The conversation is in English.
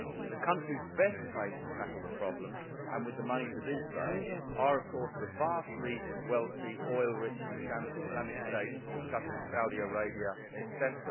The countries best placed to tackle the problem and with the money to do so are, of course, the vastly wealthy, oil rich Islamic states such as Saudi Arabia, etc.